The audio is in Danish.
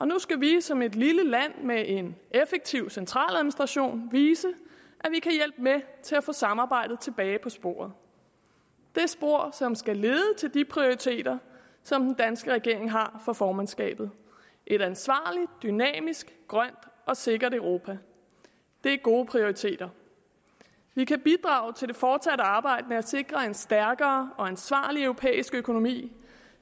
nu skal vi som et lille land med en effektiv centraladministration vise at til at få samarbejdet tilbage på sporet det spor som skal lede til de prioriteter som den danske regering har for formandskabet et ansvarligt dynamisk grønt og sikkert europa det er gode prioriteter vi kan bidrage til det fortsatte arbejde med at sikre en stærkere og ansvarlig europæisk økonomi